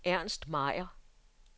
Ernst Meier